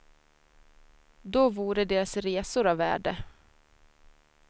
Då vore deras resor av värde.